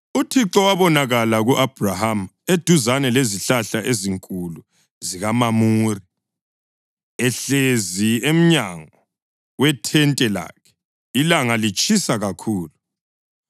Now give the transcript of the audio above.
UThixo wabonakala ku-Abhrahama eduzane lezihlahla ezinkulu zikaMamure, ehlezi emnyango wethente lakhe, ilanga litshisa kakhulu.